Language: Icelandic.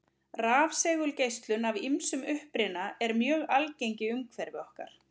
Rafsegulgeislun af ýmsum uppruna er mjög algeng í umhverfi okkar.